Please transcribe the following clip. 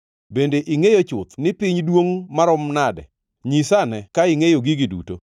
Bende ingʼeyo chuth ni piny duongʼ maromo nade? Nyisa ane ka ingʼeyo gigi duto?